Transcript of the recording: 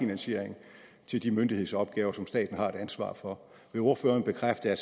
finansiering til de myndighedsopgaver som staten har et ansvar for vil ordføreren bekræfte at